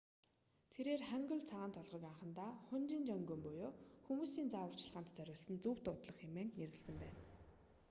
тэрээр хангул цагаан толгойг анхандаа хунмин жеонгум буюу хүмүүсийн зааварчилгаанд зориулсан зөв дуудлага хэмээн нэрлэсэн байна